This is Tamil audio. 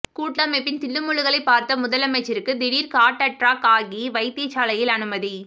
கூட்டமைப்பின் தில்லுமுல்லுகளை பார்த்த முதலமைச்சருக்கு திடீர் காட்அற்றாக் ஆகி வைத்தியசாலையில் அனுமதி